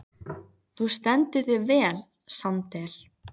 Þú stendur þig vel, Sandel!